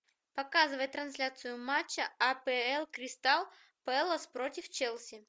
показывай трансляцию матча апл кристал пэлас против челси